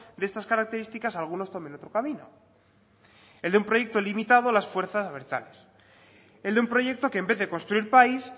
de estas características algunos tomen otro camino el de un proyecto limitado a las fuerzas abertzales el de un proyecto que en vez de construir país